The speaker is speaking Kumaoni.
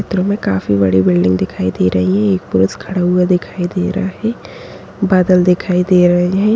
चित्र में काफी बड़ी बिल्डिंग दिखाई दे रही है एक पुरुष खड़ा हुआ दिखाई दे रहा है बादल दिखाई दे रहे हैं।